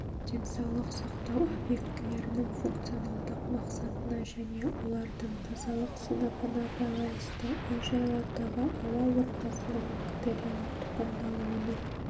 денсаулық сақтау объектілерінің функционалдық мақсатына және олардың тазалық сыныбына байланысты үй-жайлардағы ауа ортасының бактериялық тұқымдалуының